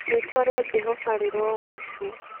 rĩtwa rĩa Jehoba rĩrogocwo.